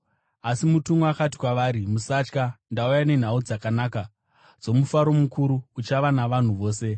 Asi mutumwa akati kwavari, “Musatya. Ndauya nenhau dzakanaka dzomufaro mukuru uchava wavanhu vose.